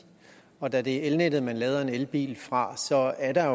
og da det er elnettet man lader en elbil fra så er der